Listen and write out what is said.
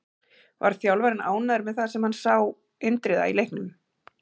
Var þjálfarinn ánægður með það sem hann sá Indriða í leiknum?